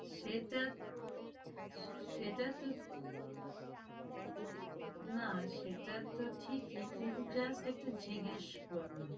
সেটা সেটাতো না সেটাতো ঠিকই কিন্তু just একটু জিজ্ঞেস করলাম